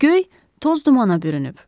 Göy toz dumana bürünüb.